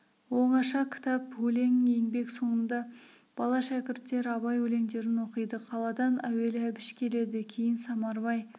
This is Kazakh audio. оңаша кітап өлең еңбек соңында бала шәкірттер абай өлеңдерін оқиды қаладан әуелі әбіш келеді кейін самарбай